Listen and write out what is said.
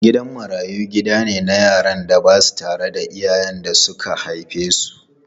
Gidan marayu gida ne na yaran da ba sa rayuwa tare da iyayen da suka haife su.